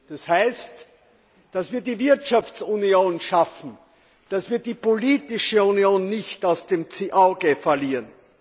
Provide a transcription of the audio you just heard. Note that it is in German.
Das heißt, dass wir die Wirtschaftsunion schaffen, dass wir die politische Union nicht aus dem Auge verlieren.